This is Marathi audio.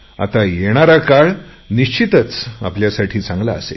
आता येणारा काळ निश्चितच आपल्यासाठी चांगला असेल